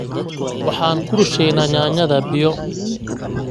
Waxaan ku rusheeynaa yaanyada biyo